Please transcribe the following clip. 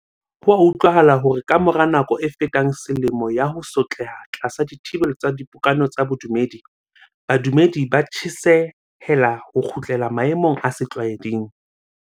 Ho a utlwahala hore ka mora nako e fetang selemo ya ho sotleha tlasa dithibelo tsa dipokano tsa bodumedi, badumedi ba tjhesehela ho kgutlela maemong a setlwa eding.